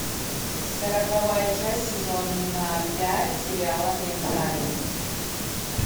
сороковая часть сезона пять сериала ментализ